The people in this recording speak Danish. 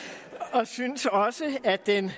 og synes også at den